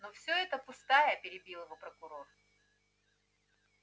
но всё это пустая перебил его прокурор